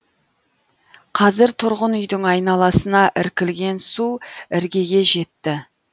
қазір тұрғын үйдің айналасына іркілген су іргеге жетті